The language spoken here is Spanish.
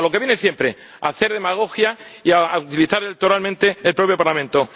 A lo que viene siempre a hacer demagogia y a utilizar electoralmente el propio Parlamento.